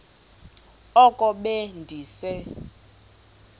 oko be ndise